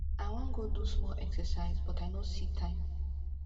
i wan go do small exercise but i no see time